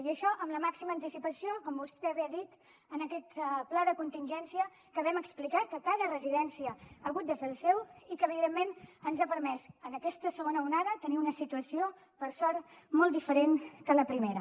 i això amb la màxima anticipació com vostè bé ha dit en aquest pla de contingència que vam explicar que cada residència ha hagut de fer el seu i que evidentment ens ha permès en aquesta segona onada tenir una situació per sort molt diferent que en la primera